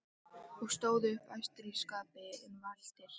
og stóðu upp æstir í skapi en valtir.